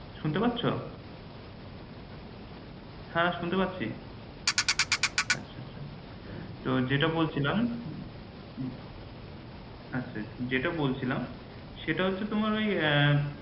শুনতে পাচ্ছ? হ্যাঁ শুনতে পাচ্ছি। আচ্ছা আচ্ছা তো যেটা বলছিলাম আচ্ছা যেটা বলছিলাম সেটা হচ্ছে তোমার ওই